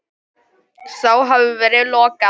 Þá hafi verið lokað.